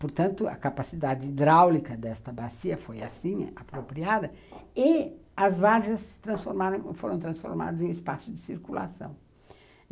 Portanto, a capacidade hidráulica desta bacia foi assim, apropriada, e as várzeas foram transformadas em espaços de circulação.